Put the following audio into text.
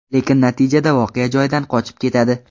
Lekin natijada voqea joyidan qochib ketadi.